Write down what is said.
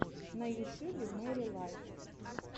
на ютюбе мэри лайт